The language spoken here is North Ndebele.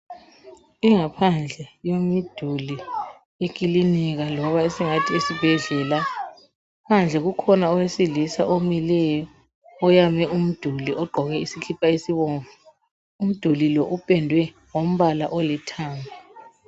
Ingaphandle yomduli ekilinika loba esingathi esibhedlela, phandle kukhona owesilisa omileyo oyame umduli ogqoke isikipa esibomvu. Umduli lo upendwe ngombala olithanga.